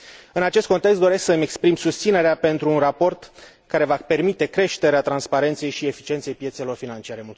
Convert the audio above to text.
În acest context, doresc să îmi exprim susținerea pentru un raport care va permite creșterea transparenței și eficienței piețelor financiare.